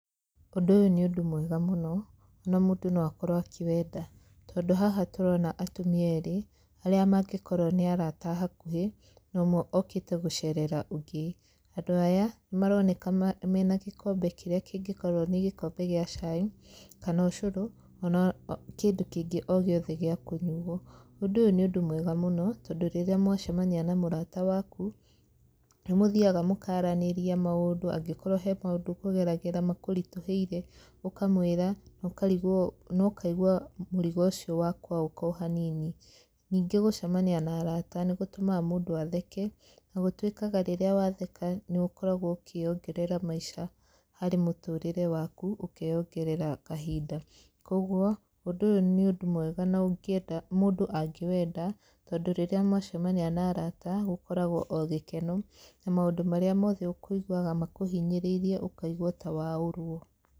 Ũndũ ũyũ nĩ ũndũ mwega mũno, na mũndũ no akorwo akĩwenda tondũ haha tũrona atumia eerĩ, arĩa mangĩkorwo nĩ arata a hakuhĩ, na ũmwe okĩte gũcerera ũngĩ. Andũ aya, nĩ maroneka mena gĩkombe kĩrĩa kĩngĩkorwo nĩ gĩkombe gĩa cai, kana ũcũrũ ona kĩndũ kĩngĩ o gĩothe gĩa kũnyuo. Ũndũ ũyũ nĩ ũndũ mwega mũno, tondũ rĩrĩa mwacemania na mũrata waku, nĩ mũthiaga mũkaranĩria maũndũ angĩkorwo he maũndũ ũkũgeragĩra makũritũhĩire, ũkamwĩra na ũkarigwo na ũkaigua mũrigo ũcio wakũaũka o hanini. Ningĩ gũcemania na araata nĩ gũtũmaga mũndũ atheke, na gũtũĩkaga rĩrĩa watheka nĩ ũkoragwo ũkĩongerera maica harĩ mũtũrĩre waku ũkeyongerera kahinda. Kũguo, ũndũ ũyũ nĩ ũndũ mwega na ũngĩenda mũndũ angĩwenda tondũ rĩrĩa mwacemania na araata gũkoragwo o gĩkeno na maũndũ marĩa mothe ũkũiguaga makũhinyĩrĩirie ũkaigua ta waũrwo.